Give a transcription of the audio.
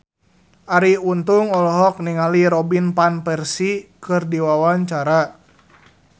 Arie Untung olohok ningali Robin Van Persie keur diwawancara